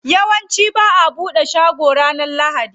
Yawanci ba'a bude shaguna ranar lahadi.